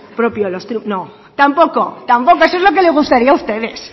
propio no tampoco tampoco eso es lo que le gustaría a ustedes